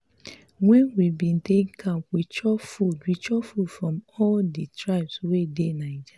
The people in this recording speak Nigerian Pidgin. wen we bin dey camp we chop food we chop food from all di tribes wey dey naija.